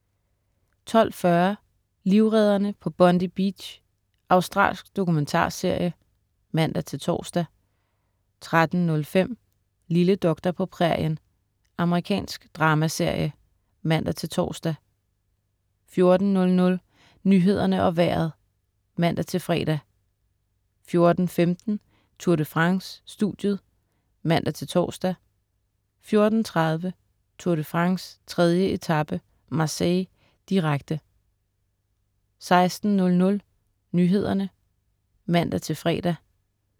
12.40 Livredderne på Bondi Beach Australsk dokumentarserie (man-tors) 13.05 Lille doktor på prærien. Amerikansk dramaserie (man-tors) 14.00 Nyhederne og Vejret (man-fre) 14.15 Tour de France: Studiet (man-tors) 14.30 Tour de France: 3. etape, Marseille, direkte 16.00 Nyhederne (man-fre)